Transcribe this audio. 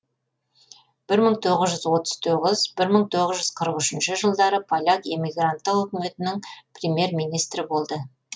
бір мың тоғыз жүз отыз тоғыз бір мың тоғыз жүз қырық үшінші жылдары поляк эмигранттық үкіметінің премьер министрі болды